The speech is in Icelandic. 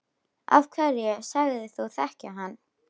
Af hverju sagðist þú þekkja hann?